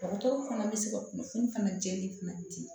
Dɔgɔtɔrɔw fana bɛ se ka kunnafoni fana jɛni fana di